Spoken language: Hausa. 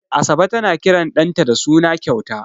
Asabe tana kiran ɗanta da suna kyauta.